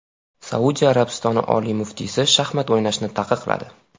Saudiya Arabistoni oliy muftiysi shaxmat o‘ynashni taqiqladi .